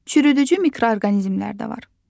Çürüdücü mikroorqanizmlər də var.